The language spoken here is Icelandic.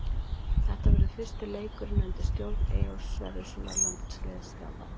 Þetta verður fyrsti leikurinn undir stjórn Eyjólfs Sverrissonar landsliðsþjálfara.